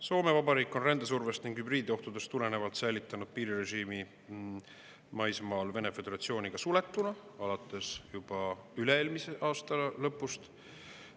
Soome Vabariik on rändesurvest ning hübriidohtudest tulenevalt Vene Föderatsiooniga suletuna juba alates üle-eelmise aasta lõpust.